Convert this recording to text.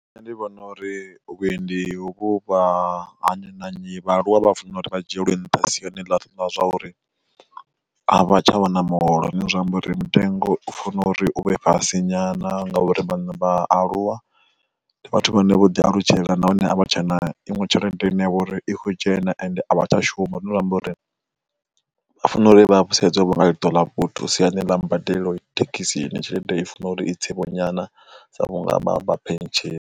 Nṋe ndi vhona uri vhuendi huvhu vha ha nnyi na nnyi vha aluwa vha fanela uri vha dzhielwe nnṱha siyani ḽa zwa uri a vha tsha vha na muholo zwi amba uri mitengo ufana uri u vhe fhasi nyana ngauri vhana vha aluwa ndi vhathu vhane vho ḓi alutshela nahone a vha tsha na iṅwe tshelede ine ya vha uri i kho dzhena ende a vha tsha shuma, zwine zwa amba uri vha fanela uri vha vhe sedzwe vho nga ṱola vhuthu siani ḽa mbadelo thekhisini tshelede i funa uri i tse vho nyana sa vhunga vha vha phensheni.